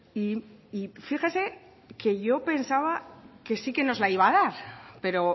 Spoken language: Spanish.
y fíjese que yo pensaba que sí que nos la iba a dar pero